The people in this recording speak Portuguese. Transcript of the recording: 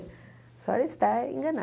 A senhora está enganada.